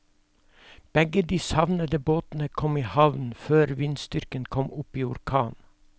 Begge de savnede båtene kom i havn før vindstyrken kom opp i orkan.